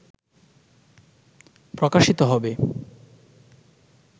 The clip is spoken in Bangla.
প্রকাশিত হবে